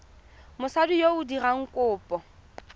mosadi yo o dirang kopo